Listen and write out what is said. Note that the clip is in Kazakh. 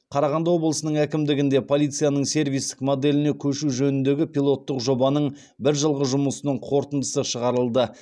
қарағанды облысының әкімдігінде полицияның сервистік моделіне көшу жөніндегі пилоттық жобаның бір жылғы жұмысының қорытындысы шығарылды